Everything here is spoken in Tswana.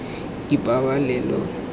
ipabalelo